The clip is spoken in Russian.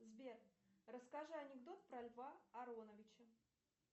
сбер расскажи анекдот про льва ароновича